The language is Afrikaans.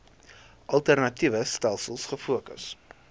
alternatiewe stelsels gefokus